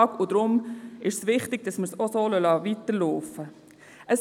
Deshalb ist es wichtig, dass wir es so weiter laufen lassen.